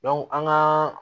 an gaa